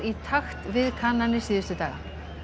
í takt við kannanir síðustu daga